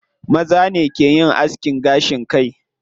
Maza ne ke yin askin gashin kai.